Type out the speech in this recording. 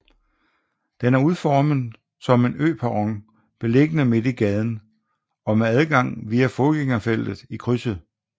Den er udformet som en øperron beliggende midt i gaden og med adgang via fodgængerfeltet i krydset